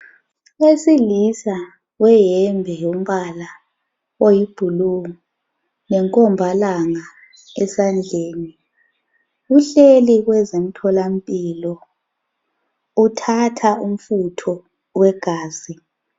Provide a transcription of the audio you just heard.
Obesilisa weyembe yombala oyi blue lenkombalanga esandleni uhleli kwezemthola mpilo uthatha umfutho wegazi